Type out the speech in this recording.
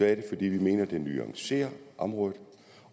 er det fordi vi mener at det nuancerer området